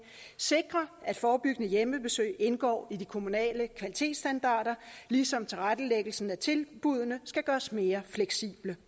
sikre at forebyggende hjemmebesøg indgår i de kommunale kvalitetsstandarder ligesom tilrettelæggelsen af tilbuddene skal gøres mere fleksible